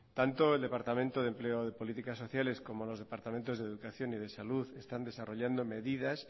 tanto el departamento de empleo y políticas sociales como los departamentos de educación y de salud están desarrollando medidas